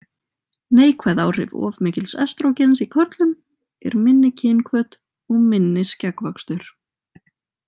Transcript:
Neikvæð áhrif of mikils estrógens í körlum er minni kynhvöt og minni skeggvöxtur.